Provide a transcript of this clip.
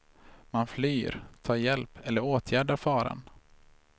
Man flyr, tar hjälp eller åtgärdar faran.